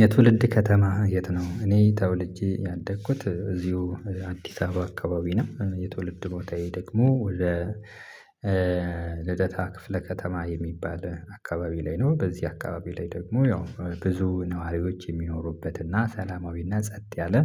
የትውልድ ከተማህ የት ነው? እኔ ተወልጄ ያደኩት እዚሁ አዲስ አበባ አካባቢ ነው። የትውልድ ቦታዬ ደግሞ ወደ ልደታ ክፍለ ከተማ የሚባል አካባቢ ላይ ነው። በዚህ አካባቢ ላይ ደግሞ ያው ብዙ ነዋሪዎች የሚኖሩበት እና ሰላማዊና ጸጥ ያለ